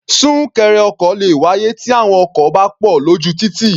Súnkẹrẹ ọkọ̀ le wáyé tí àwọn ọkọ̀ bá pọ̀ lójú títì.